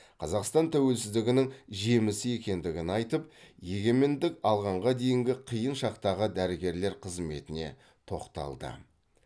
қазақстан тәуелсіздігінің жемісі екендігін айтып егемендік алғанға дейінгі қиын шақтағы дәрігерлер қызметіне тоқталды